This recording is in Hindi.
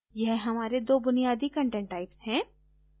यह हमारे दो बुनियादी content types हैं